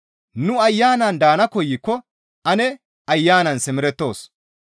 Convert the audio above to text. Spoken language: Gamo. Nu Ayanan daana koykko ane Ayanan simerettoos.